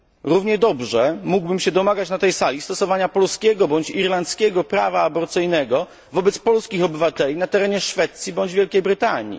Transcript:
Równie dobrze mógłbym na tej sali domagać się stosowania polskiego bądź irlandzkiego prawa aborcyjnego wobec polskich obywateli na terenie Szwecji bądź Wielkiej Brytanii.